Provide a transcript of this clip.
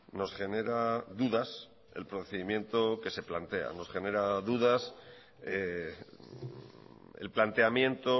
nos genera dudas el procedimiento que se plantea nos genera dudas el planteamiento